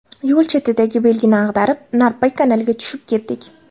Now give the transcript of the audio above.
Yo‘l chetidagi belgini ag‘darib, Narpay kanaliga tushib ketdik.